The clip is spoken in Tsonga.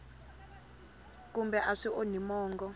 kambe a swi onhi mongo